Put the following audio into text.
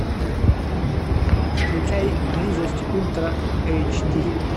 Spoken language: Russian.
включай близость ультра эйч ди